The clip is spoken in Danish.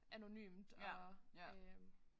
Anonymt og øh